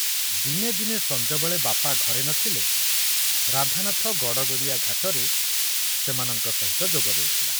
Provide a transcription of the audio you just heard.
ଦିନେ ଦିନେ ସଞ୍ଜବେଳେ ବାପା ଘରେ ନ ଥିଲେ ରାଧାନାଥ ଗଡ଼ଗଡ଼ିଆ ଘାଟରେ ସେମାନଙ୍କ ସହିତ ଯୋଗ ଦେଉଥିଲା।